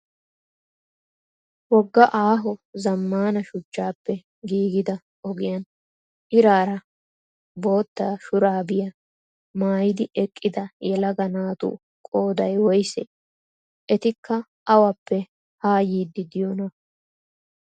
Wogga aaho zammaana shuchchappe giigida ogiyan iraara bootya shuraabiya maayidi eqqida yelaga naatu qoodayi woyisee? Etikka awappe ha yiiddi diyoonaa?